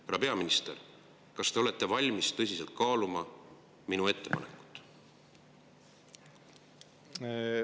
Härra peaminister, kas te olete valmis tõsiselt kaaluma minu ettepanekut?